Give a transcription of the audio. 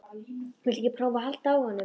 Viltu ekki prófa að halda á honum?